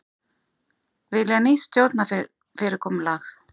Vilja nýtt stjórnarfyrirkomulag